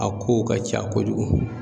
A kow ka ca kojugu